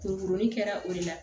Pourin kɛra o de la